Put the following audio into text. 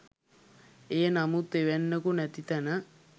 එය නමුත් එවැන්නෙකු නැති තැන